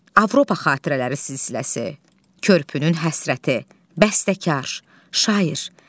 Avropa xatirələri silsiləsi, Körpünün həsrəti, Bəstəkar, Şair.